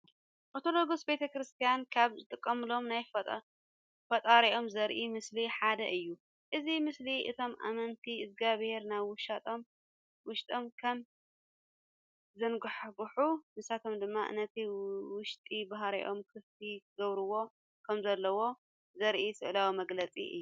ኦርቶዶክስ ቤተ ክርስቲያን ካብ ዝጥቀምሎም ናይ ፈጣሪኦም ዘርኢ ምስሊ ሓደ እዩ። እዚ ምስሊ እቶም ኣመንቲ እግዛብሄር ናብ ውሽጦም ከም ዘንጓሕጉሕ ንሳቶም ድማ ነቲ ውሽጢ ባህሪኦም ክፍቲ ክገብርዎ ከም ዘለዎም ዘርኢ ስእላዊ መግለፂ እዩ።